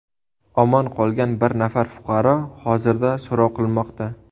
Omon qolgan bir nafar fuqaro hozirda so‘roq qilinmoqda.